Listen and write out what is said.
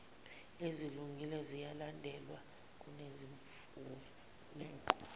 ezilungile ziyalandelwa kunezimfuneko